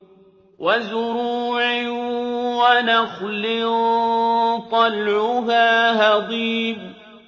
وَزُرُوعٍ وَنَخْلٍ طَلْعُهَا هَضِيمٌ